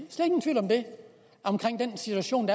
af den situation